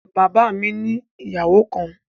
Bàbá mi ni ìyàwó kan